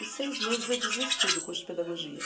Em seis meses eu desisti do curso de pedagogia.